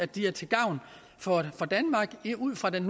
de er til gavn for danmark ud fra den